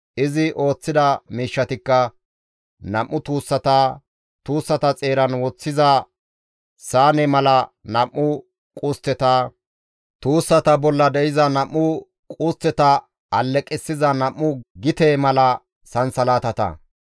Izi ooththida miishshatikka nam7u tuussata, tuussata xeeran woththiza saane mala nam7u qustteta, tuussata bolla de7iza nam7u qustteta alleqissiza nam7u gite mala sansalatata,